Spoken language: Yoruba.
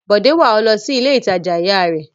Bọ̀dé wà ọ́ lọ sí ilé-ìtajà ìyá rẹ?